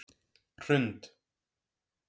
Hrund